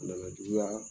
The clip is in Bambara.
A nana juguya